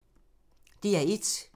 DR1